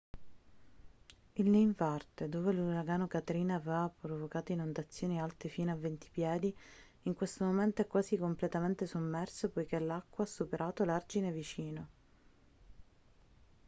il ninth ward dove l'uragano katrina aveva provocato inondazioni alte fino a 20 piedi in questo momento è quasi completamente sommerso poiché l'acqua ha superato l'argine vicino